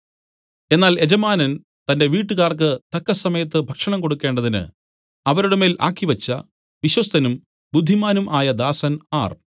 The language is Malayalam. എന്നാൽ യജമാനൻ തന്റെ വീട്ടുകാർക്ക് തത്സമയത്ത് ഭക്ഷണം കൊടുക്കണ്ടതിന് അവരുടെ മേൽ ആക്കിവെച്ച വിശ്വസ്തനും ബുദ്ധിമാനും ആയ ദാസൻ ആർ